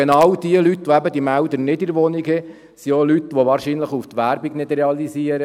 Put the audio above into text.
Genau diese Leute, die keine Melder in ihrer Wohnung haben, sind auch Leute, die nicht auf die Werbung reagieren.